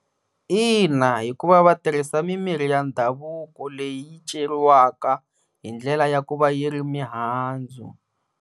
Ina, hikuva va tirhisa mi mirhi ya ndhavuko leyi yi ceriwaka hi ndlela ya ku va yi ri mihandzu.